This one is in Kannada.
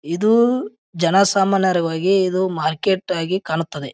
ಇದು ಜನಸಾಮಾನ್ಯರಿಗಾಗಿ ಇದು ಮಾರ್ಕೆಟ್ ಆಗಿ ಕಾಣುತ್ತದೆ.